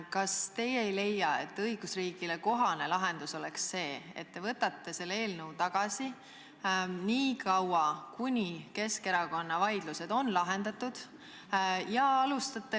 Kas teie ei leia, et õigusriigile kohane lahendus oleks see, et te võtate selle eelnõu seniks tagasi, kuni Keskerakonna vaidlused on lahendatud?